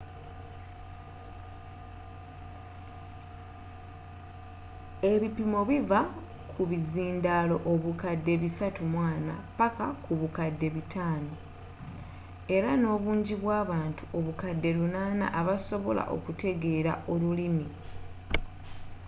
ebipimo biva ku bizindaalo obukadde 340 paka ku bukadde 500 era nobungi bw'abantu obukadde 800 abasobola okutegeela olulimi